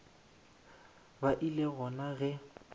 ba e le gona ge